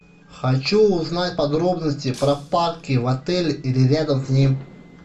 хочу узнать подробности про парки в отеле или рядом с ним